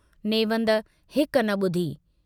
नेवंद हिक न बुधी।